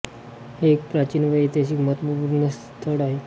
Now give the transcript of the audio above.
हे एक प्राचीन व ऐतिहासिक महत्त्वपूर्ण स्थळ आहे